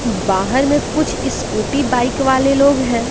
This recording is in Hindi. बाहर में कुछ स्कूटी बाइक वाले लोग हैं।